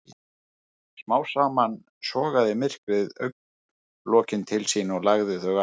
Smám saman sogaði myrkrið augnlokin til sín og lagði þau aftur.